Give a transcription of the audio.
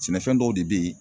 Sɛnɛfɛn dɔw de be yen